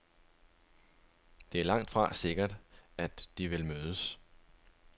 Det er langtfra sikkert, at de vil mødes.